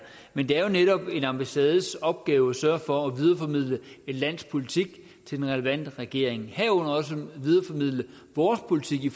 men det er jo netop en ambassades opgave at sørge for at videreformidle et lands politik til den relevante regering herunder også videreformidle vores politik i